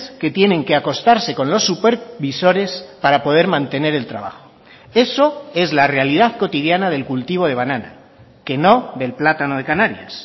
que tienen que acostarse con los supervisores para poder mantener el trabajo eso es la realidad cotidiana del cultivo de banana que no del plátano de canarias